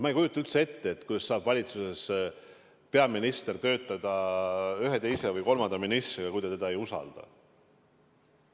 Ma ei kujuta üldse ette, kuidas saab valitsuses peaminister koos töötada ühe, teise või kolmanda ministriga, kui ta teda ei usalda.